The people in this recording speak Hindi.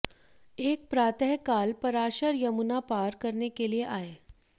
एक प्रातःकाल पराशर यमुना पार करने के लिए आये